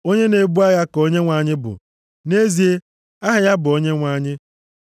Onye na-ebu agha ka Onyenwe anyị bụ. Nʼezie, aha ya bụ Onyenwe anyị.